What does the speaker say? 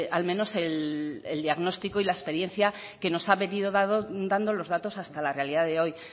al menos el diagnóstico y la experiencia que nos han venido dando los datos hasta la realidad de hoy